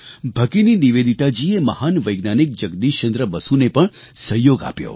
ભગિની નિવેદિતાજીએ મહાન વૈજ્ઞાનિક જગદિશચંદ્ર બસુને પણ સહયોગ આપ્યો